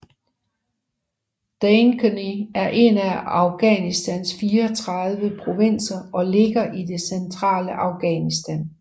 Dainkondi er en af Afghanistans 34 provinser og ligger i det centrale Afghanistan